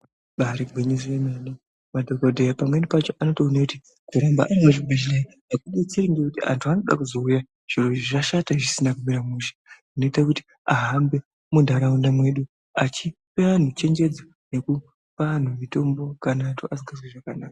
Ibari gwinyiso yemene madhokodheya pamweni pacho anotoone kuti ndiremba ende bhedhleyaekudetse ngekuti antu anode kuzouya zviro zvashata zvisina kumira mishe zvinoita kuti ahambe mantaraunda mwedu achipe anhu chenjedzo Yekupa antu mutombo kana kuti asikazwi zvakanaka.